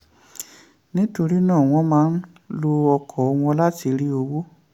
nítorí náà wọ́n máa ń lo ọkọ̀ wọn láti rí owó.